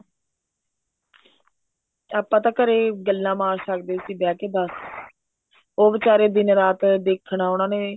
ਆਪਾਂ ਤਾਂ ਘਰੇ ਗੱਲਾਂ ਮਾਰ ਸਕਦੇ ਸੀ ਬਿਹ ਕੇ ਬੱਸ ਉਹ ਵਿਚਾਰੇ ਦਿਨ ਰਾਤ ਦੇਖਣਾ ਉਹਨਾ ਨੇ